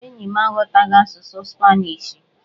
Enyi m aghọtaghị asụsụ spanishi..